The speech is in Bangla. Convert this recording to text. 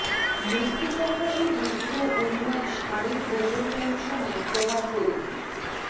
মৃত্যু সম্বন্ধে দীর্ঘ উন্মাদ ষাঁড়ের গোবর লাইন সমেত তোমার পরিধি